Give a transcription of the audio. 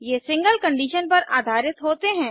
ये single condition पर आधारित होते हैं